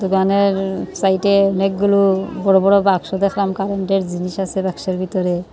দোকানের সাইট -এ অনেকগুলু বড় বড় বাক্স দেখলাম কারেন্ট -এর জিনিস আসে বাক্সের ভিতরে।